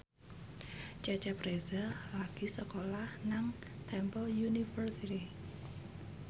Cecep Reza lagi sekolah nang Temple University